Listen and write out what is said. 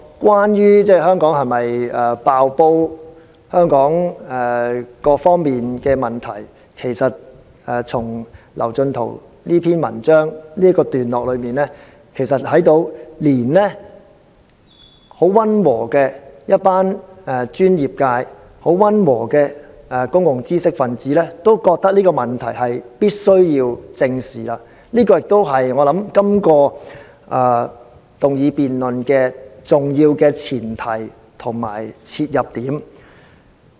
"關於香港是否"爆煲"及香港各方面的問題，從劉進圖這篇文章已看到，連一群很溫和的公共專業界知識分子也認為這問題必須正視，這亦是這項議案辯論重要的前提和切入點。